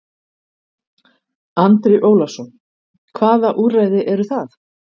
Andri Ólafsson: Hvaða úrræði eru það?